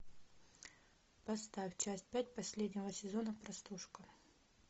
поставь часть пять последнего сезона простушка